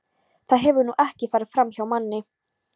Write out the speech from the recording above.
Það hefur nú ekki farið framhjá manni.